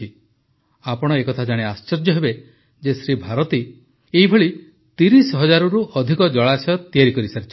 ଆପଣ ଏହା ଜାଣି ଆଶ୍ଚର୍ଯ୍ୟ ହେବେ ଯେ ଶ୍ରୀ ଭାରତୀ ଏପରି ୩୦ ହଜାରରୁ ଅଧିକ ଜଳାଶୟ ତିଆରି କରିସାରିଛନ୍ତି